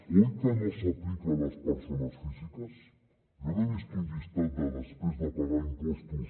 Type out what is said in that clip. oi que no s’aplica a les persones físiques jo no he vist un llistat de després de pagar impostos